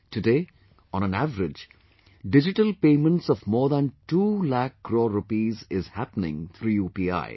Today, on an average, digital payments of more than 2 lakh crore Rupees is happening through UPI